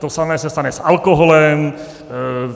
To samé se stane s alkoholem.